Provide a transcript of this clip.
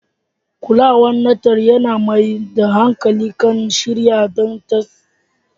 Kulawar Natal yana mai da hankali kan shirya don tsarin haihuwa.